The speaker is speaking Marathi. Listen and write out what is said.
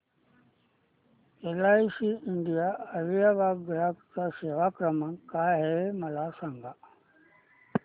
एलआयसी इंडिया अलिबाग चा ग्राहक सेवा क्रमांक काय आहे मला सांगा